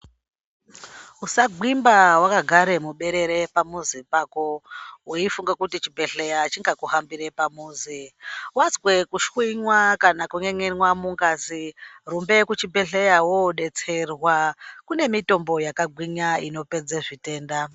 Usagwimba wakagara muberere pamuzi pako weifunga kuti chibhedhlera chingakuhambira pamuzi. Wazwe kushwinywa kana kun'en'enwa mungazi rumbe kuzvibhedhlera woodetserwa kune mitombo yakagwinya inopedze zvitenda.